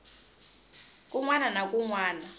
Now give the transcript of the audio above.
kun wana na kun wana